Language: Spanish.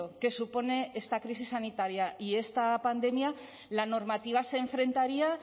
que supone esta crisis sanitaria y esta pandemia la normativa se enfrentaría